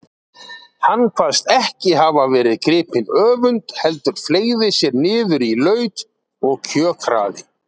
Hann kvaðst ekki hafa verið gripinn öfund heldur fleygði sér niður í laut og kjökraði.